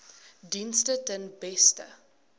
dienste ten beste